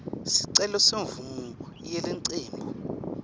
sicelo semvumo yelicembu